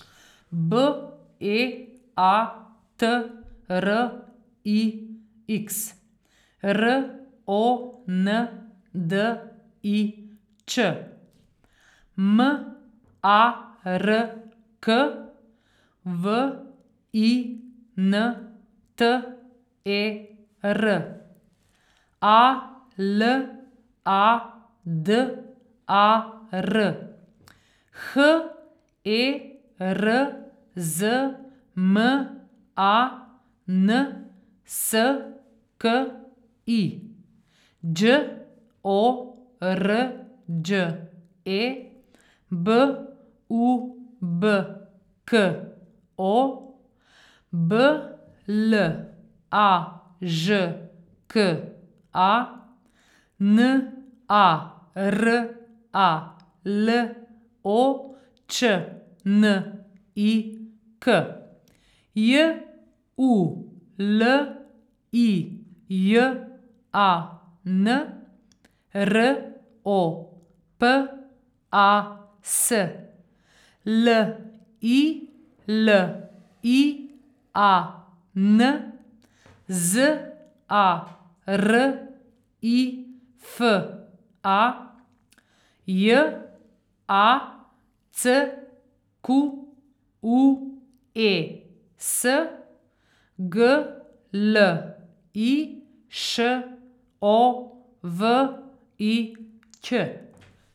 B E A T R I X, R O N D I Č; M A R K, W I N T E R; A L A D A R, H E R Z M A N S K I; Đ O R Đ E, B U B K O; B L A Ž K A, N A R A L O Č N I K; J U L I J A N, R O P A S; L I L I A N, Z A R I F A; J A C Q U E S, G L I Š O V I Ć.